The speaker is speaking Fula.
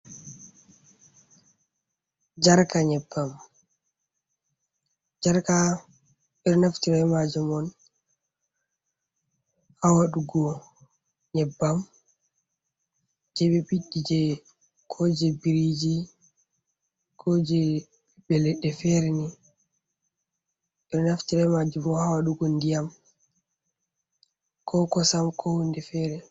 Jarka nyebbam, jarka ɓe ɗo naftira ɓe majum on ha waɗugo nyebbam jei ɓe ɓiɗɗi jei... ko jei biriji ko jei ɓiɓɓe leɗɗe fere ni. Ɓe ɗo naftira ɓe majum bo ha waɗugo ndiyam, ko kosam ko hunde fere.